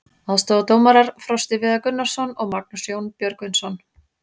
Aðstoðardómarar: Frosti Viðar Gunnarsson og Magnús Jón Björgvinsson.